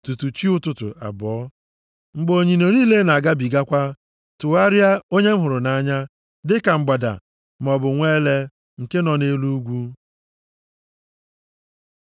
tutu chi ụtụtụ abọọ mgbe onyinyo niile na-agabigakwa. Tụgharịa, onye m hụrụ nʼanya, dị ka mgbada maọbụ nwa ele nke nọ nʼelu ugwu.